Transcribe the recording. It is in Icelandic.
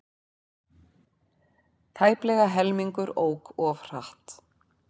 Tæplega helmingur ók of hratt